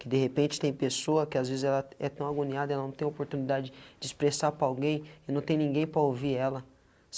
Que de repente tem pessoa que às vezes ela é tão agoniada, ela não tem a oportunidade de expressar para alguém e não tem ninguém para ouvir ela.